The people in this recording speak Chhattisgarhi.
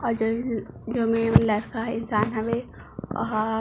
और जो जो में लड़का ह इंसान हवे ओ ह--